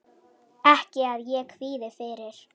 Ekki að ég kvíði fyrir.